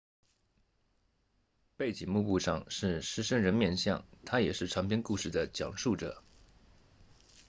背景幕布上是狮身人面像它也是长篇故事的讲述者